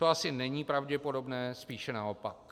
To asi není pravděpodobné, spíše naopak.